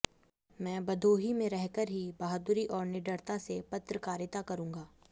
मैं भदोही मे रहकर ही बहादुरी और निडरता से पत्रकारिता करूंगा